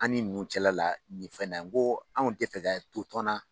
An ni ninnu cɛla la nin fɛnɛ , n ko anw te fɛ ka to tɔn na